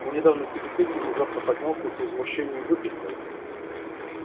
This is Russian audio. мой недавний собеседник внезапно поднялся и с возмущением выкрикнул